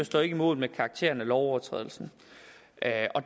står ikke mål med karakteren af lovovertrædelsen